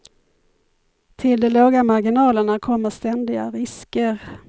Till de låga marginalerna kommer ständiga risker.